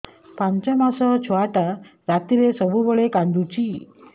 ପାଞ୍ଚ ମାସ ଛୁଆଟା ରାତିରେ ସବୁବେଳେ କାନ୍ଦୁଚି